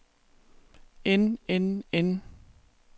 end end end